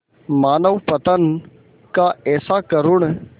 मानवपतन का ऐसा करुण